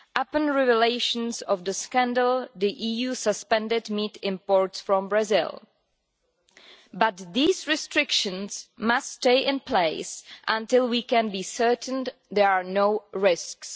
On revelation of the scandal the EU suspended meat imports from Brazil, but these restrictions must stay in place until we can be certain that there are no risks.